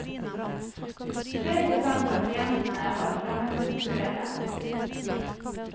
Tre prosent av klientene var fremmedkulturelle.